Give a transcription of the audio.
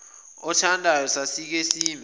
othandayo sasike sime